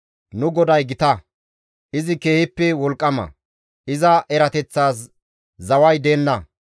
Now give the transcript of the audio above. Nu GODAY gita; izi keehippe wolqqama; iza erateththaas zaway deenna.